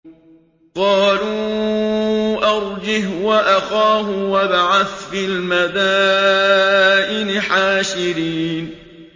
قَالُوا أَرْجِهْ وَأَخَاهُ وَابْعَثْ فِي الْمَدَائِنِ حَاشِرِينَ